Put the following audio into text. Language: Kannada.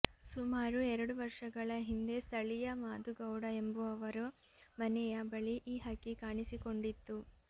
ಸುಮಾರು ಎರಡು ವರ್ಷಗಳ ಹಿಂದೆ ಸ್ಥಳೀಯ ಮಾದು ಗೌಡ ಎಂಬುವವರ ಮನೆಯ ಬಳಿ ಈ ಹಕ್ಕಿ ಕಾಣಿಸಿಕೊಂಡಿತ್ತು